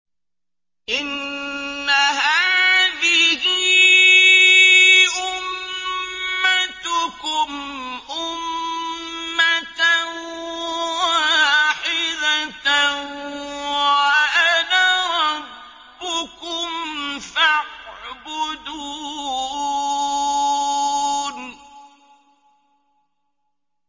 إِنَّ هَٰذِهِ أُمَّتُكُمْ أُمَّةً وَاحِدَةً وَأَنَا رَبُّكُمْ فَاعْبُدُونِ